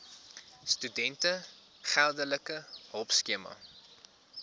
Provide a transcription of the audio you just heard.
studente geldelike hulpskema